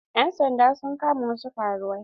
Ƴan sanda sun kama wasu karuwai.